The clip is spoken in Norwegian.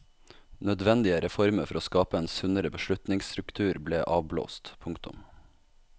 Nødvendige reformer for å skape en sunnere beslutningsstruktur ble avblåst. punktum